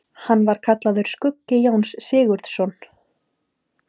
Hann var kallaður skuggi Jóns Sigurðssonar.